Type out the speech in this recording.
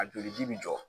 A joli ji bi jɔ